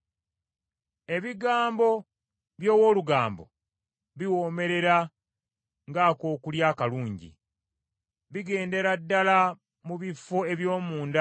Ebigambo by’omuntu ageya biri ng’emmere ewoomerera, bigenda mu bitundu by’omubiri eby’ewala.